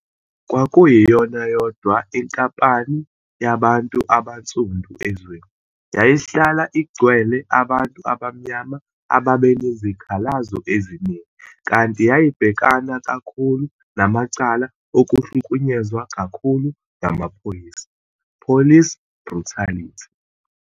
Kwakuyiyona yodwa inkampani yabantu abansundu ezweni, yayihlala igcwele abantu abamnyama ababenezikhalazo eziningi, kanti yayibhekana kakhulu namacala okuhlukunyezwa kakhulu ngamaphoyisa, police brutality.